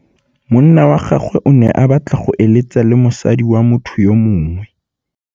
Monna wa gagwe o ne a batla go êlêtsa le mosadi wa motho yo mongwe.